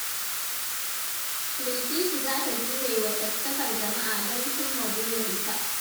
Bilkisu za ta jure wa caccakar jama’a don cimma burinta.